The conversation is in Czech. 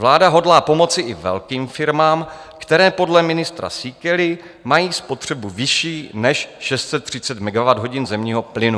Vláda hodlá pomoci i velkým firmám, které podle ministra Síkely mají spotřebu vyšší než 630 MWh zemního plynu.